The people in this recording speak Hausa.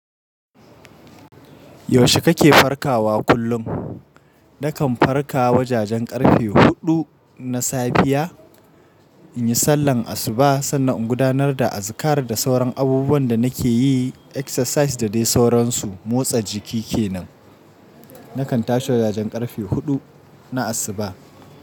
Yaushe kake farkawa kullum? Nakan farka wa jajen ƙarfe huɗu na safiya in yi sallar asuba sannan in gudanar da azikara da sauran abubuwan da nake yi exercise da dai sauransu motsa jiki kenan. Nakan tashi wa jajen ƙarfe huɗu na asuba.